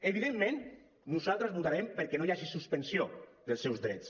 evidentment nosaltres votarem perquè no hi hagi suspensió dels seus drets